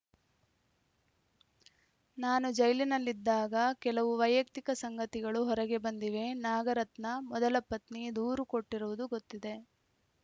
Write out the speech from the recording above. ನಾನು ಜೈಲಿನಲ್ಲಿದ್ದಾಗ ಕೆಲವು ವೈಯಕ್ತಿಕ ಸಂಗತಿಗಳು ಹೊರಗೆ ಬಂದಿವೆ ನಾಗರತ್ನ ಮೊದಲ ಪತ್ನಿ ದೂರು ಕೊಟ್ಟಿರುವುದು ಗೊತ್ತಿದೆ